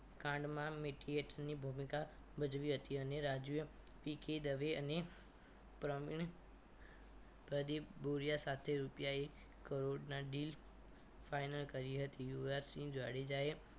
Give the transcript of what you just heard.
કાંડમાં mediate ની ભૂમિકા ભજવી હતી અને રાજુ એ પી કે દવે અને પ્રવીણ પ્રદીપ ભુરિયા સાથે રૂપિયા એક કરોડના deal final કરી હતી યુવરાજસિંહ જાડેજા